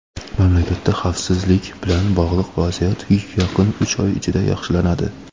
Mamlakatda xavfsizlik bilan bog‘liq vaziyat yaqin uch oy ichida yaxshilanadi.